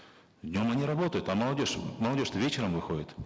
днем они работают а молодежь молодежь то вечером выходит